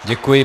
Děkuji.